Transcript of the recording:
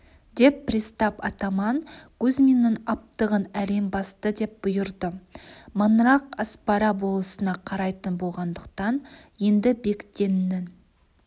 деп пристав атаман кузьминнің аптығын әрең басты деп бұйырды маңырақ аспара болысына қарайтын болғандықтан енді бектеннің